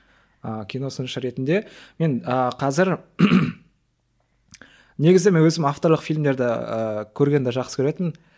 ы кино сыншы ретінде мен ы қазір негізі мен өзім авторлық фильмдерді ііі көргенді жақсы көретінмін